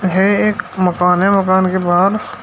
हे एक मकान है मकान के बाहर--